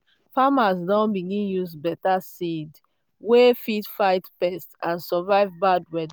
farmers don begin use better seed wey fit fight pests and survive bad weather.